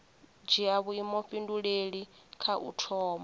dzhia vhuifhinduleli kha u thoma